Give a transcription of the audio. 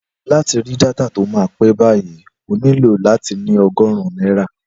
Láti ra dátà tí ó máa pẹ́ báyìí, o nílò láti ní ogórùn náírà